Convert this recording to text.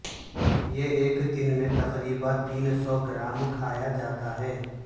یہ ایک دن میں تقریبا تین سو گرام کھایا جاتا ہے